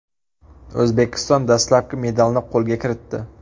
O‘zbekiston dastlabki medalni qo‘lga kiritdi.